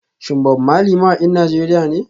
Shin Bob Marley mawakin Najeriya ne?